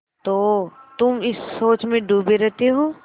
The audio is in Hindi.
तो तुम इस सोच में डूबे रहते हो